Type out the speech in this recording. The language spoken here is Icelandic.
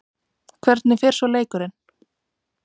Hvernig fer svo leikurinn?